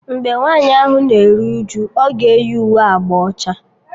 Mgbe nwaanyị ahụ na-eru uju, ọ ga eyi uwe agba ọcha